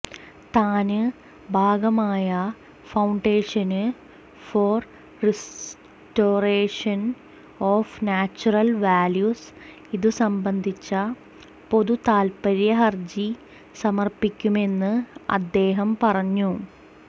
താന് ഭാഗമായ foundation for restoration of natural values ഇതു സംബന്ധിച്ച പൊതുതാത്പ്പര്യ ഹര്ജി സമര്പ്പിക്കുമെന്ന് അദ്ദേഹം പറഞ്ഞു